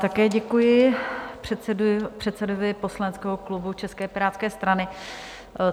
Také děkuji předsedovi poslaneckého klubu české Pirátské strany.